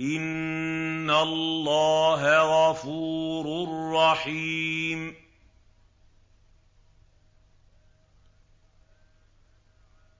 إِنَّ اللَّهَ غَفُورٌ رَّحِيمٌ